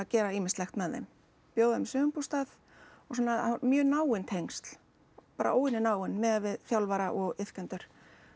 gera ýmislegt með þeim bjóða þeim í sumarbústað og svona það mjög náin tengsl bara óvenju náin miðað við þjálfara og iðkendur